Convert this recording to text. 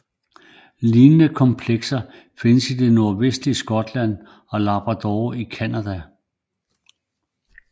Lignende komplekser findes i det nordvestlige Skotland og Labrador i Canada